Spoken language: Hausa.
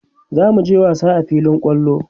zamuje wasa a filin kwallo